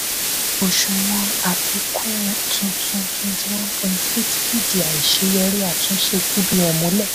òṣùwọ̀n àfikún tuntun twenty one point eight percent fìdí àìṣeyọrí àtúnṣe cbn mulẹ.